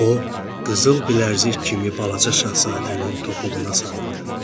O qızıl bilərzik kimi balaca Şahzadənin topuğuna sarıldı.